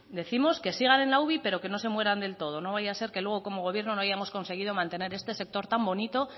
décimos que sigan en la uvi pero que no se mueran del todo no vaya a ser que luego como gobierno no hayamos conseguido mantener este sector tan bonito